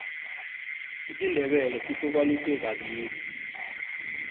isindebele sihlukaniswe kabili